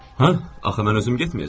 Hə, axı mən özüm getməyəcəm.